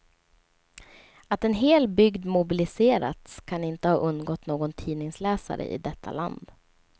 Att en hel bygd mobiliserats kan inte ha undgått någon tidningsläsare i detta land.